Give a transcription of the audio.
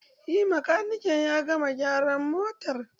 Eh makanikin ya gama gyaran motar.